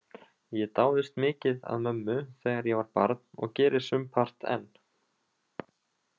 Ég dáðist mikið að mömmu þegar ég var barn og geri sumpart enn.